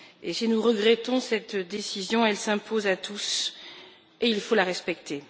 Si nous regrettons cette décision, elle s'impose à tous et il faut la respecter.